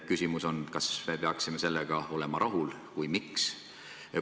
Küsimus on, kas me peaksime sellega rahul olema.